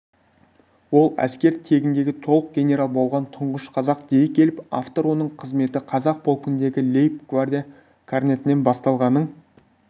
ол әскер тегіндегі толық генерал болған тұңғыш қазақ дей келіп автор оның қызметі казак полкында лейб-гвардия корнетінен басталғанын